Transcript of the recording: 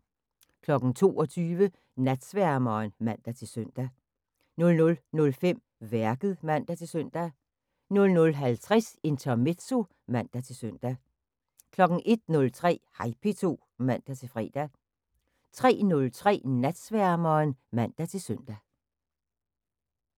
22:00: Natsværmeren (man-søn) 00:05: Værket (man-søn) 00:50: Intermezzo (man-søn) 01:03: Hej P2 (man-fre) 03:03: Natsværmeren (man-søn)